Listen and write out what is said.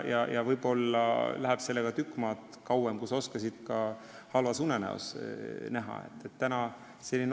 Võib-olla läheb sellega veel tükk maad kauem, kui sa ka halvas unenäos näha oskasid.